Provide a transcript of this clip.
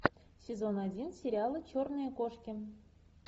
сезон один сериала черные кошки